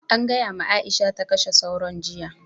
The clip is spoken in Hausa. An gaya ma Aisha ta kashe sauron jiya.